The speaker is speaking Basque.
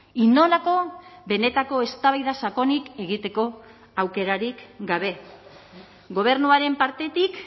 inolako benetako eztabaida sakonik egiteko aukerarik gabe gobernuaren partetik